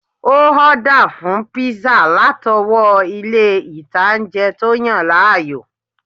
Ó ọ́dà fún píísà látọwọ́ ilé ìtanjẹ́ tó yàn láàyò